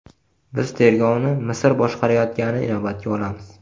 Biz tergovni Misr boshqarayotganini inobatga olamiz.